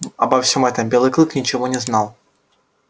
обо всём этом белый клык ничего не знал